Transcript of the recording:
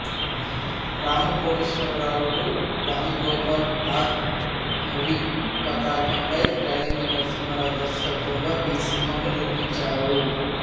రామ కోటేశ్వరరావులు Ram Gopal art movies పతాకంపై రేలంగి నరసింహారావు దర్శకత్వంలో ఈ సినిమాను నిర్మించారు